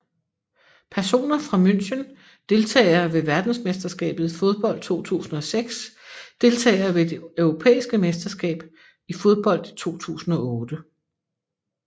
Personer fra München Deltagere ved verdensmesterskabet i fodbold 2006 Deltagere ved det europæiske mesterskab i fodbold 2008